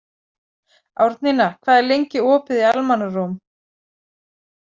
Árnína, hvað er lengi opið í Almannaróm?